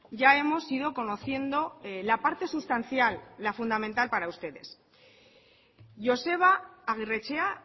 ya hemos ido conociendo la parte sustancial la fundamental para ustedes joseba agirretxea